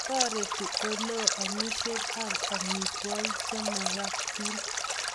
Tareti oleo amishet ab amitwakik che makatiin